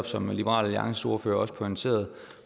som liberal alliances ordfører også pointerede